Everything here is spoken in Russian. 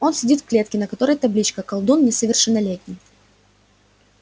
он сидит в клетке на которой табличка колдун несовершеннолетний